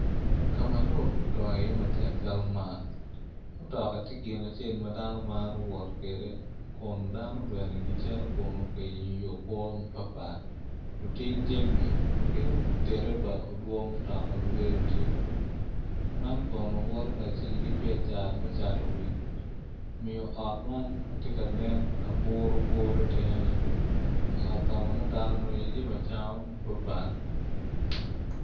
Ka ma lobo odongo iye matek calo man mutoka tye gin acel ma dano maro wot kwede kun dano bene gicito kunu ka yenyo yo kwo mapatpat oting jami ki derebua mutoka bene bedo tye man kono woto kacel ki biacara me cato wil omiyo ot man ma tye ka nen ma buruburo itenge-ni ot ka ma nongo dano nwongo iye jami acama mapatpat.